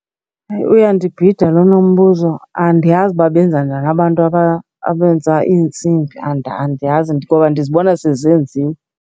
Hayi, uyandibhida lona umbuzo. Andiyazi uba benza njani abantu abenza iintsimbi, andiyazi ngoba ndizibona sezenziwe.